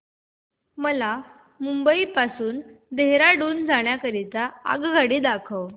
मला मुंबई पासून देहारादून जाण्या करीता आगगाडी दाखवा